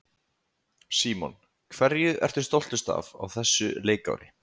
Símon: Hverju ertu stoltust af á þessu leikári?